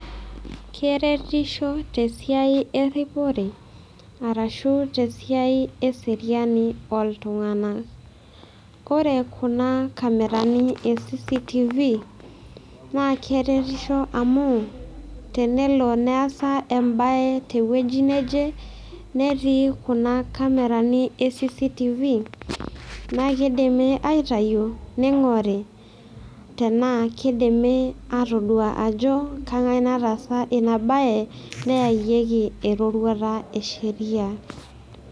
Keretisho te esiai erripore arashu te esiai eseriani oltung'anak. Ore kuna camera e CCTV naa keretisho amu tenelo neesa embaye te ewueji neje netii kuna camerani e CCTV naa kidimi aitayu ning'ore tenaa kidimi atodua ajo kang'ae nataasa ina baye neyayieki eroruata e sheria.